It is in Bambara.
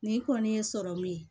Ni kɔni ye sɔrɔmu ye